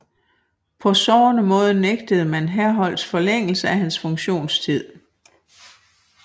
På sårende måde nægtede man Herholdt forlængelse af hans funktionstid